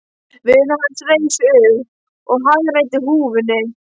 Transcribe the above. Vinur hans reis upp og hagræddi húfunni.